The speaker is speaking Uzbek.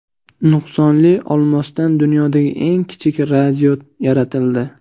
Nuqsonli olmosdan dunyodagi eng kichik radio yaratildi.